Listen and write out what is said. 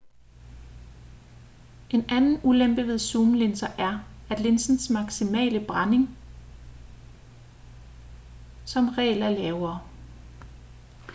en anden ulempe ved zoomlinser er at linsens maksimale blænding hastighed som regel er lavere